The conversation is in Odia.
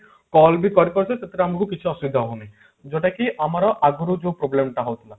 call ବି କରିପାରୁଛେ ସେଥିରେ ଆମକୁ କିଛି ଅସୁବିଧା ହଉନି ଯୋଉଟା କି ଆମର ଆଗରୁ ଯୋଉ problem ଟା ହଉଥିଲା